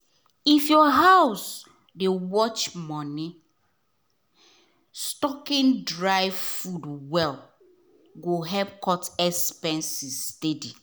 if your house dey watch money stocking dry food well go help cut food expenses steady.